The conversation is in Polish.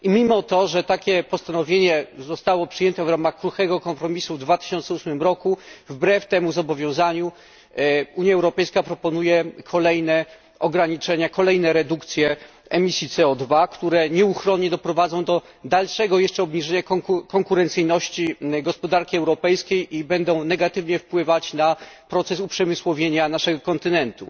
Mimo że takie postanowienie zostało przyjęte w ramach kruchego kompromisu w 2008 roku, wbrew temu zobowiązaniu Unia Europejska proponuje kolejne ograniczenia, kolejne redukcje emisji CO które nieuchronnie doprowadzą do dalszego jeszcze obniżenia konkurencyjności gospodarki europejskiej i będą negatywnie wpływać na proces uprzemysłowienia naszego kontynentu.